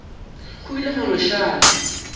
go ile gwa no šala